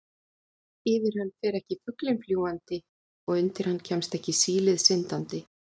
Yfir hann fer ekki fuglinn fljúgandi og undir hann kemst ekki sílið syndandi.